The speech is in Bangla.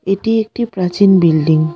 এটি একটি প্রাচীন বিল্ডিং ।